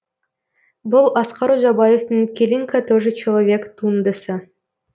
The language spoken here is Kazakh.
бұл асқар ұзабаевтың келинка тоже человек туындысы